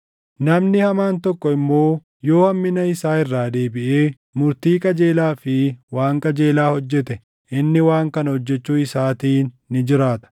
Namni hamaan tokko immoo yoo hammina isaa irraa deebiʼee murtii qajeelaa fi waan qajeelaa hojjete, inni waan kana hojjechuu isaatiin ni jiraata.